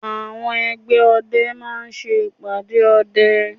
Àwọn ẹgbẹ́ ọdẹ máa ṣe ìpàdé ọdẹ